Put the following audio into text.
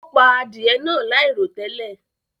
O pà adìẹ̀ náà lairotẹlẹ.